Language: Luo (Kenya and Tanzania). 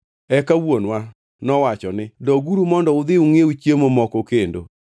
“Eka wuonwa nowacho ni, ‘Doguru mondo udhi ungʼiew chiemo moko kendo.’